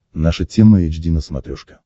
наша тема эйч ди на смотрешке